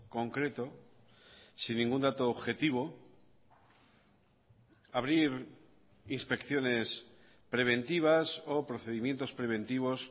concreto sin ningún dato objetivo abrir inspecciones preventivas o procedimientos preventivos